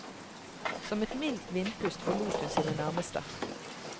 Som et mildt vindpust forlot hun sine nærmeste.